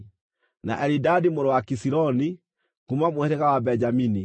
na Elidadi mũrũ wa Kisiloni, kuuma mũhĩrĩga wa Benjamini;